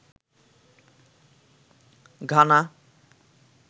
Ghana